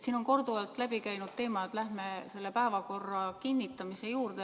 Siin on korduvalt läbi käinud, et läheme päevakorra kinnitamise juurde.